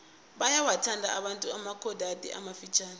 bayawathanda abantu amabhokadi amafitjhani